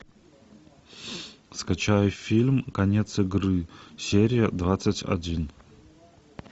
скачай фильм конец игры серия двадцать один